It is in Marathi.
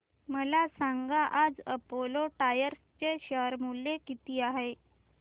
मला सांगा आज अपोलो टायर्स चे शेअर मूल्य किती आहे